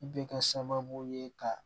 I bɛ ka sababu ye ka